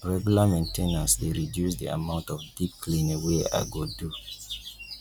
regular main ten ance dey reduce the amount of deep cleaning wey i go do